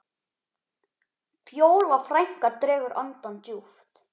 Fjóla frænka dregur andann djúpt.